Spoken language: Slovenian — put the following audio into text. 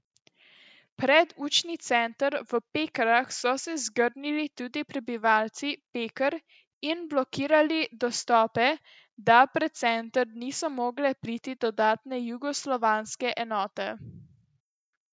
Pred učni center v Pekrah so se zgrnili tudi prebivalci Peker in blokirali dostope, da pred center niso mogle priti dodatne jugoslovanske enote.